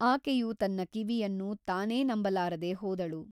ಆಕೆಯು ತನ್ನ ಕಿವಿಯನ್ನು ತಾನೇ ನಂಬಲಾರದೆ ಹೋದಳು.